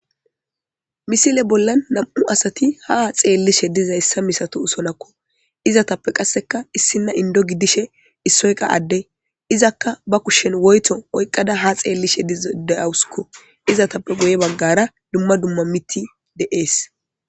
Misile bollan nam'u asati ha xeelishe malatoosonakko Izattappe qassekka issina inddo gidishin issoy qa adde izakka ba kushshen woytho oyqada ha xeelishin de'awuskko. Izatappe guye bagara dumma dumma miththi de'ees.